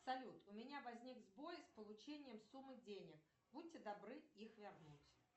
салют у меня возник сбой с получением суммы денег будьте добры их вернуть